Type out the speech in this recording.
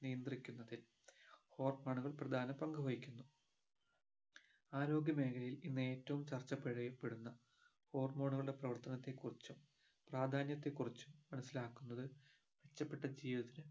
നിയന്ത്രിക്കുന്നതിൽ hormone ഉകൾ പ്രധാന പങ്ക് വഹിക്കുന്നു ആരോഗ്യ മേഖലയിൽ ഇന്ന് ഏറ്റവും ചർച്ചപ്പെടെ പെടുന്ന hormone ഉകളുടെ പ്രവർത്തനത്തെ കുറിച്ചും പ്രാധാന്യത്തെ കുറിച്ചും മനസിലാക്കുന്നത് മെച്ചപ്പെട്ട ജീവിതത്തിന്